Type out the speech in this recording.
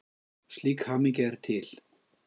Slík hamingja er til.